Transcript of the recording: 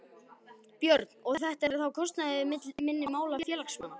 Björn: Og er þetta þá á kostnað minni mála félagsmanna?